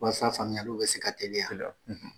Walasa faamuyaliw bɛ se ka teliya.